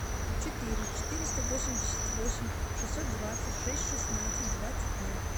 четыре четыреста восемьдесят восемь шестьсот двадцать шесть шестнадцать двадцать ноль